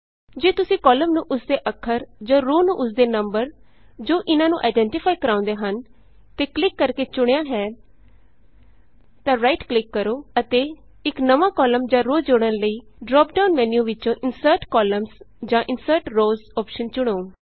ਜੇ ਤੁਸੀਂ ਕਾਲਮ ਨੂੰ ਉਸਦੇ ਅੱਖਰ ਜਾਂ ਰੋਅ ਨੂੰ ਉਸਦੇ ਨੰਬਰ ਜੋ ਇਹਨਾਂ ਨੂੰ ਆਈਡੈਂਟੀਫਾਈ ਕਰਾਂਉਦੇ ਹਨ ਤੇ ਕਲਿਕ ਕਰਕੇ ਚੁਣਿਆ ਹੈ ਤਾਂ ਰਾਈਟ ਕਲਿਕ ਕਰੋ ਅਤੇ ਇਕ ਨਵਾਂ ਕਾਲਮ ਜਾਂ ਰੋਅ ਜੋੜਨ ਲਈ ਡਰਾਪਡਾਉਨ ਮੈਨਯੂ ਵਿਚੋਂ ਇੰਸਰਟ ਕੌਲਮਜ਼ ਜਾਂ ਇੰਸਰਟ ਰੋਜ਼ ਅੋਪਸ਼ਨ ਚੁਣੋ